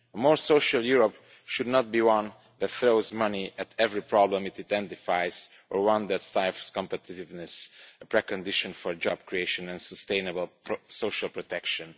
A more social Europe should not be one that throws money at every problem it identifies, or one that stifles competitiveness a precondition for job creation and sustainable social protection.